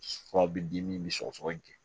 Furaw bɛ di min bɛ sɔgɔsɔgɔ in kɛ